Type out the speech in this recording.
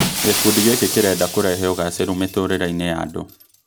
Gĩkundi gĩki kĩrenda kũrehe ũgacĩru mĩtũrĩre-inĩya andũ